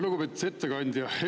Lugupeetud ettekandja!